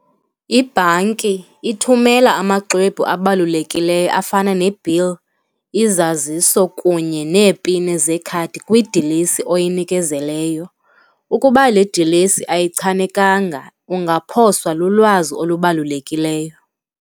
Ibhanki ithumela amaxwebhu abalulekileyo afana nebhil, izaziso kunye neepin zekhadi kwidilesi oyinikezeleyo, ukuba le dilesi ayichanekanga ungaphoswa lulwazi olubalulekileyo.